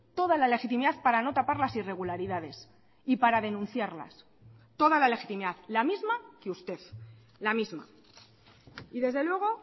toda la legitimidad para no tapar las irregularidades y para denunciarlas toda la legitimidad la misma que usted la misma y desde luego